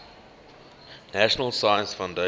national science foundation